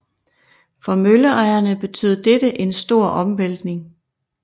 For møllerejerne betød dette en stor omvæltning